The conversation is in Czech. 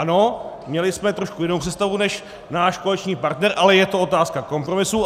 Ano, měli jsme trošku jinou představu než náš koaliční partner, ale je to otázka kompromisu.